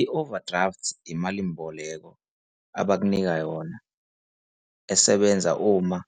I-overdraft imalimboleko abakunika yona esebenza uma